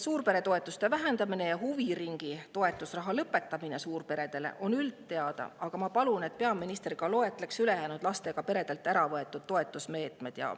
Suurperede toetuse vähendamine ja huviringiraha lõpetamine suurperedele on üldteada, aga ma palun, et peaminister loetleks ka ülejäänud toetusmeetmed, mis lastega peredelt on ära võetud.